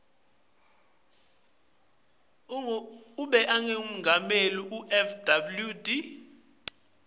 tamengameli fw de